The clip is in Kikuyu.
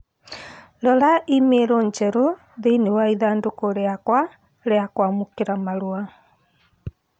Rora i-mīrū njerũ thĩinĩ wa ithandũkũ rĩakwa rĩa kwamūkīra marua